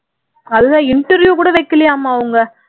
அதுல interview கூட வைக்கலையாமா அவங்க